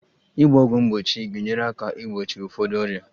Ịgba ọgwụ mgbochi ga-enyere aka igbochi ụfọdụ ọrịa